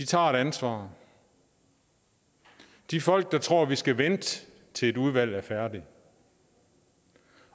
tager et ansvar de folk der tror at vi skal vente til et udvalg er færdigt